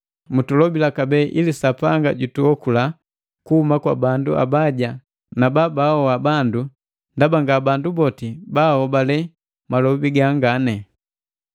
Mutulobila kabee ili Sapanga jutuokula kuhuma kwa bandu abaja na baahoa bandu, ndaba nga bandu boti baahobale malobi gangane.